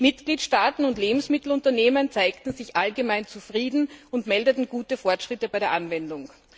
Mitgliedstaaten und Lebensmittelunternehmen zeigten sich allgemein zufrieden und meldeten gute Fortschritte bei der Anwendung.